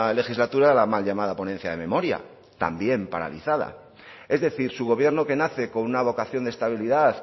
legislatura la mal llamada ponencia de memoria también paralizada es decir su gobierno que nace con una vocación de estabilidad